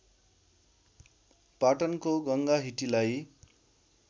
पाटनको गङ्गा हिटीलाई